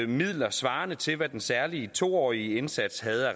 midler svarende til hvad den særlige to årige indsats havde